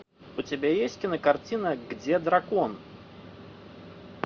у тебя есть кинокартина где дракон